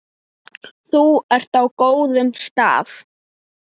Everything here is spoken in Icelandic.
Þú ert á góðum stað.